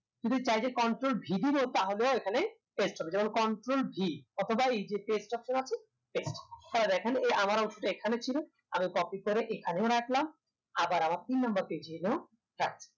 যদি চাই যে control v দিবো তাহলেও এখানে paste হবে যেমন control v অথবা এই যে paste option আছে এটা দেখেন অংশটা এখানে ছিল আমি copy করে এখানেও রাখলাম আবার আমার তিন number page এ এনেও রাখলাম